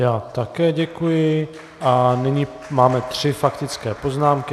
Já také děkuji a nyní máme tři faktické poznámky.